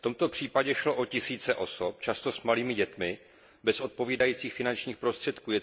V tomto případě šlo o tisíce osob, často s malými dětmi, bez odpovídajících finančních prostředků.